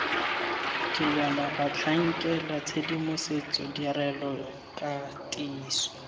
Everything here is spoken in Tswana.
dilwana batlhankela tshedimosetso ditirelo katiso